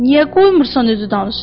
Niyə qoymursan özü danışsın?